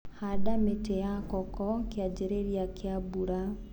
Handa mĩti ya koko kĩanjĩrĩria kia mbura.